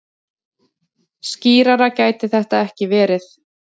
Skýrara gæti þetta ekki verið.